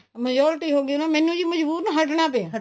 majority ਹੋਗੀ ਨਾ ਮੈਨੂੰ ਵੀ ਮਜਬੂਰਨ ਹਟਨਾ ਪਿਆ